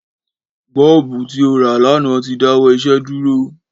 Bọ́ọ̀bù tí ó rà lánàá ti dáwọ́ iṣẹ́ dúró